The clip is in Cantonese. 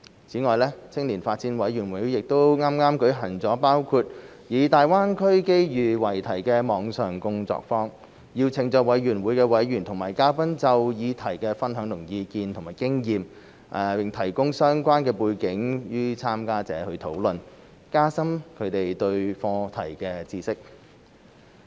此外，青年發展委員會亦剛舉行了包括以"大灣區機遇"為題的網上工作坊，邀請了委員會委員及嘉賓就議題分享意見及經驗，並提供相關背景予參加者討論，加深他們對課題的認識。